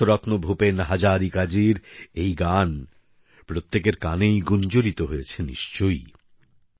ভারতরত্ন ভূপেন হাজারিকাজির বিখ্যাত গান প্রত্যেকের কানেই গুঞ্জরিত হয়েছে নিশ্চয়ই